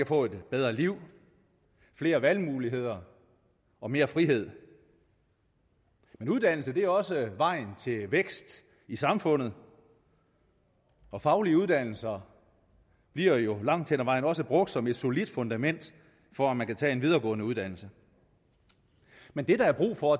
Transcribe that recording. få et bedre liv flere valgmuligheder og mere frihed men uddannelse er også vejen til vækst i samfundet og faglige uddannelser bliver jo langt hen ad vejen også brugt som et solidt fundament for at man kan tage en videregående uddannelse men det der er brug for